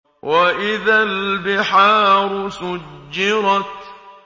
وَإِذَا الْبِحَارُ سُجِّرَتْ